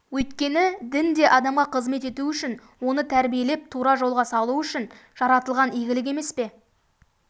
өйткені дін де адамға қызмет ету үшін оны тәрбиелеп тура жолға салу үшін жаратылған игілік емес пе